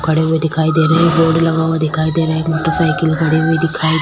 खड़े हुए दिखाई दे रहे हैं बोर्ड लगा हुआ दिखाई दे रहा है मोटर साइकिल खड़े हुए दिखाई दे रहे हैं।